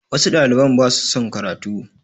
Wasu ɗaliban ba su son karatu